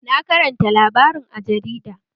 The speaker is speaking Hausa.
Na karanta labarin a jarida